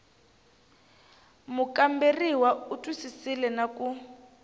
mukamberiwa u twisisile na ku